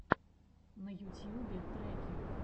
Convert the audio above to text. на ютьюбе треки